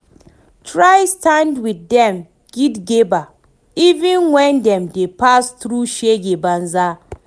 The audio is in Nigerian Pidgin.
Try stand wit dem gidigba even wen dem dey pass thru shege banza